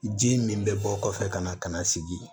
Ji min bɛ bɔ kɔfɛ ka na ka na sigi